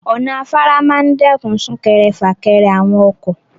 Ọ̀nà afárá máa ń dẹ́kun sún-kẹrẹ-fà-kẹrẹ àwọn ọkọ.